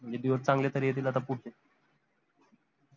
म्हनजे दिवस चांगले तरी येतील आता पुढचे